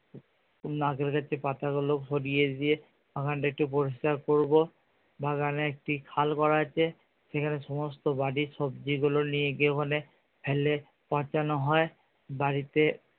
নারকেল গাছের পাতাগুলো সরিয়ে দিয়ে বাগানটা একটু পরিষ্কার করবো বাগানে একটি খাল করা আছে সেখানে সমস্ত বাড়ির সবজি গুলো নিয়ে ওখানে ফেলে পচানো হয়। বাড়িতে